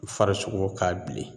U farisogo ka bilen